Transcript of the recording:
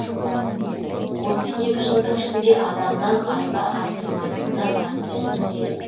осы екі жылдың ішінде адамнан айла артылмайтынына әбден көзі жеткен